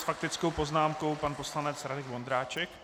S faktickou poznámkou pan poslanec Radek Vondráček.